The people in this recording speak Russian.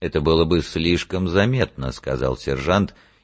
это было бы слишком заметно сказал сержант